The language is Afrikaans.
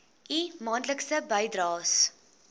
u maandelikse bydraes